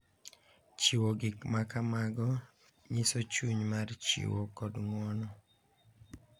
Chiwo gik ma kamago nyiso chuny mar chiwo kod ng’wono,